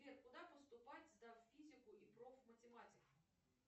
сбер куда поступать сдав физику и профматематику